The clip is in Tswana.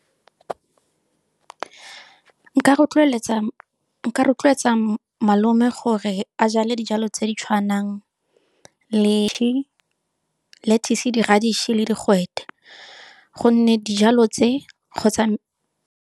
Nka rotloetsa malome gore a jale dijalo tse di tshwanang le lettuce, di-redish, le digwete gonne dijalo tse kgotsa.